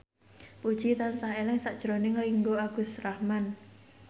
Puji tansah eling sakjroning Ringgo Agus Rahman